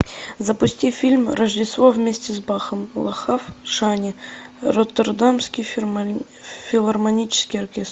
запусти фильм рождество вместе с бахом лахав шани роттердамский филармонический оркестр